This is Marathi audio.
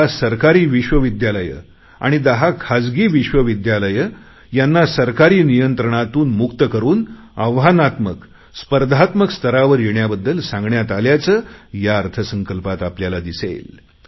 दहा सरकारी विश्वविद्यालये आणि दहा खाजगी विश्वविद्यालये यांना सरकारी नियंत्रणातून मुक्त करुन आव्हानात्मक स्पर्धात्मक स्तरावर येण्याबद्दल सांगण्यात आल्याचं या अर्थसंकल्पात आपल्याला दिसेल